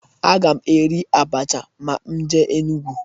Aga m eri abacha ma m jee Enugwu.